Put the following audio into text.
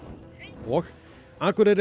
og Akureyri